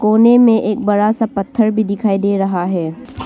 कोने में एक बड़ा सा पत्थर भी दिखाई दे रहा है।